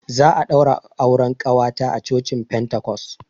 Za a ɗaura auren ƙawata a cocin pentacos.